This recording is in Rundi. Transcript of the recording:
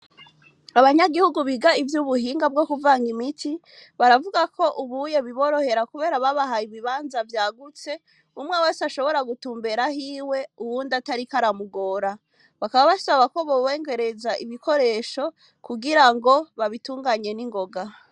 Abanyagihugu, biga ivy'ubuhinga, bwo kuvanga imiti, baravuga ko, ubuye biborohera, kubera babahaye, ibibanza vyagutse; umwe wese, ashobora gutumbera ahiwe, uwundi atariko aramugora; bakaba basaba ko, bobongerereza ibikoresho, kugira ngo, babitunganye ningoga.